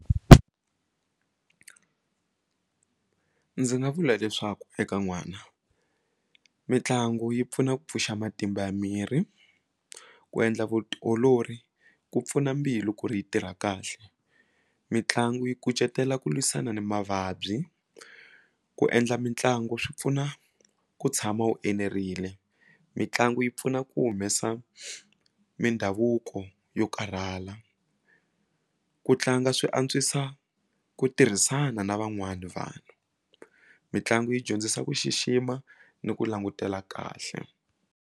Ndzi nga vula leswaku eka n'wana mitlangu yi pfuna ku pfuxa matimba ya miri ku endla vutiolori ku pfuna mbilu ku ri yi tirha kahle mitlangu yi kucetela ku lwisana ni mavabyi ku endla mitlangu swi pfuna ku tshama wu enerile mitlangu yi pfuna ku humesa mindhavuko yo karhala ku tlanga swi antswisa ku tirhisana na van'wani vanhu mitlangu yi dyondzisa ku xixima ni ku langutela kahle.